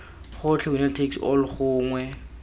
gotlhe winner takes all gongwe